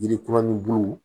Yiri kuraninbulu